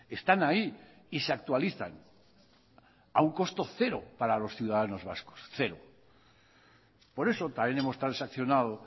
están ahí y se actualizan a un costo cero para los ciudadanos vascos por eso también hemos transaccionado